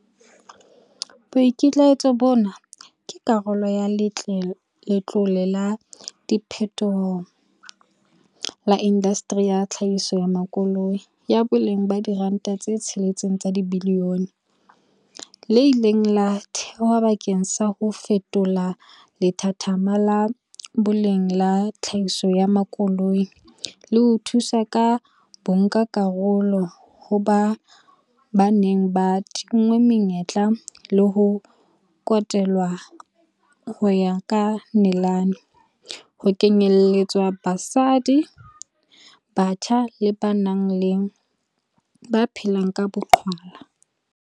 Boikitlaetso bona ke karolo ya Letlole la Diphethoho la Indaseteri ya Tlhahiso ya Makoloi, ya boleng ba R6 bilione, le ileng la thehwa bakeng sa ho fetola lethathama la boleng la tlhahiso ya makoloi le ho thusa ka bonkakarolo ho ba ba neng ba tinngwe menyetla pele le ho kotelwa ho ya ka nalane, ho kenyeletswa basadi, batjha le ba phelang ka boqhwala.